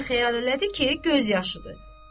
Amma elə xəyal elədi ki, göz yaşıdır.